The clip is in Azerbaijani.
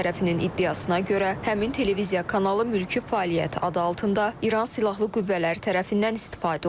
İsrail tərəfinin iddiasına görə, həmin televiziya kanalı mülki fəaliyyət adı altında İran silahlı qüvvələri tərəfindən istifadə olunub.